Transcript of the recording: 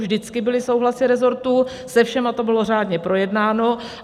Vždycky byly souhlasy resortů, se všemi to bylo řádně projednáno.